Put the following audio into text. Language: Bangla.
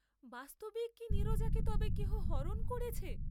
বাস্তবিক কি নীরজাকে তবে কেহ হরণ করেছে?